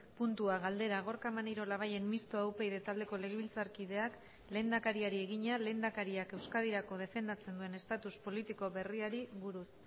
puntua galdera gorka maneiro labayen mistoa upyd taldeko legebiltzarkideak lehendakariari egina lehendakariak euskadirako defendatzen duen estatus politiko berriari buruz